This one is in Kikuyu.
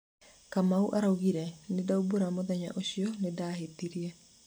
Kamau araũgire: "nindaũmbũra mũthenya ũcio nĩndahĩtirie